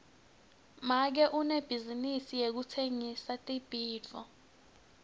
make unebhizinisi yekutsengisa tibhidvo